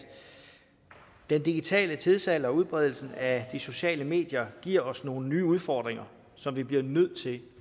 den digitale tidsalder og udbredelsen af de sociale medier giver os nogle nye udfordringer som vi bliver nødt til